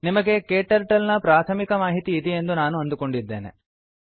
ನಿಮಗೆ ಕ್ಟರ್ಟಲ್ ನ ಪ್ರಾಥಮಿಕ ಮಾಹಿತಿ ಇದೆಯೆಂದು ನಾವು ಅಂದುಕೊಂಡಿದ್ದೇವೆ